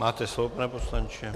Máte slovo, pane poslanče.